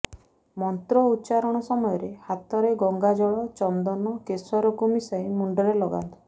ମନ୍ତ୍ର ଉଚ୍ଚାରଣ ସମୟରେ ହାତରେ ଗଙ୍ଗାଜଳ ଚନ୍ଦନ କେସରକୁ ମିଶାଇ ମୁଣ୍ଡରେ ଲଗାନ୍ତୁ